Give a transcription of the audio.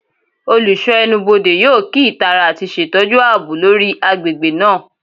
Olusho Ẹnubodè yoo kii itara ati ṣetọju aabo lori agbegbe naa